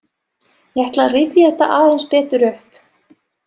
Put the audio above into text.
Ég ætla að rifja þetta aðeins betur upp.